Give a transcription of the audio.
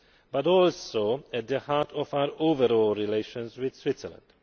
but is also at the heart of our overall relations with Switzerland.